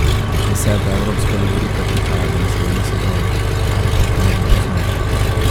Deseta evropska lovorika prihaja v naslednji sezoni ali pa v eni pozneje.